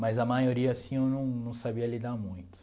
Mas a maioria, assim, eu não não sabia lidar muito.